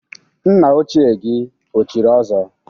Nna ochie gị o chiri ọzọ?